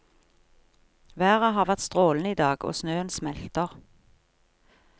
Været har vært strålende idag og snøen smelter.